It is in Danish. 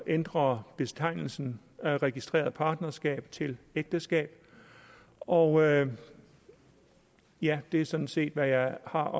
ændrer betegnelsen registreret partnerskab til ægteskab og ja det er sådan set hvad jeg har